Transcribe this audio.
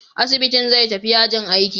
Asibitin zai tafi yajin aiki.